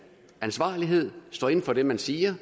ansvarlighed at stå inde for det man siger